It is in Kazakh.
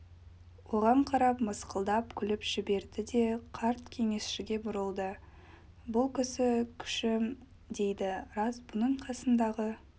оған қарап мысқылдап күліп жіберді де қарт кеңесшіге бұрылды бұл кісі күші дейді рас бұның қасындағы